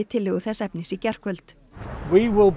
tillögu þess efnis í gærkvöld